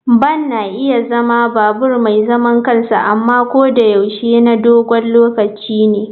Van na iya zama babur mai zaman kansa amma ko da yaushe na dogon lokaci ne.